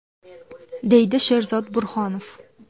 deydi Sherzod Burhonov.